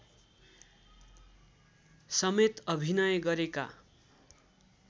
समेत अभिनय गरेका